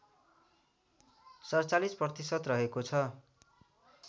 ४७ प्रतिशत रहेको छ